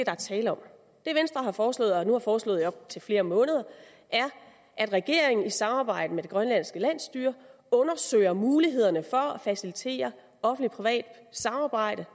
er tale om det venstre har foreslået og nu har foreslået i op til flere måneder er at regeringen i samarbejde med det grønlandske landsstyre undersøger mulighederne for at facilitere offentlig privat samarbejde